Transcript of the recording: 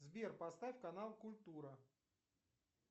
сбер поставь канал культура